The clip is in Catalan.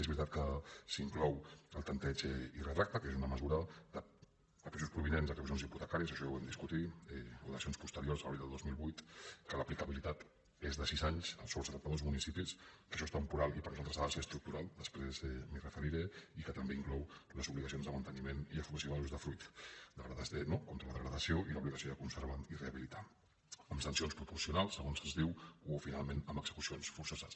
és veritat que s’hi inclou el tempteig i retracte que és una mesura de pisos provinents d’execucions hipotecàries això ja ho vam discutir o dacions posteriors a l’abril del dos mil vuit que l’aplicabilitat és de sis anys sobre setanta dos municipis que això és temporal i per nosaltres ha de ser estructural després m’hi referiré i que també inclou les obligacions de manteniment i apropiació de l’usdefruit no contra la degradació i l’obligació de conservar i rehabilitar amb sancions proporcionals segons es diu o finalment amb execucions forçoses